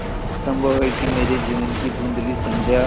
संभव है कि मेरे जीवन की धँुधली संध्या